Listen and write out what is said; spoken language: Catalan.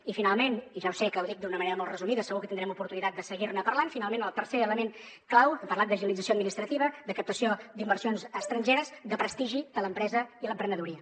i finalment i ja ho sé que ho dic d’una manera molt resumida segur que tindrem oportunitat de seguir ne parlant el tercer element clau hem parlat d’agilització administrativa de captació d’inversions estrangeres el prestigi de l’empresa i l’emprenedoria